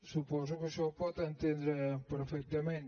suposo que això ho pot entendre perfectament